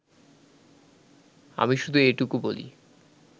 আমি শুধু এটুকু বলি